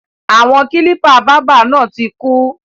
Àwọn kílípà báábà náà tí kú.